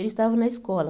Eles estavam na escola.